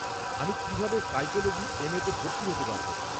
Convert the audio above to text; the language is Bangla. আমি কীভাবে সাইকোলোজি এম.এ-তে ভর্তি হতে পারব?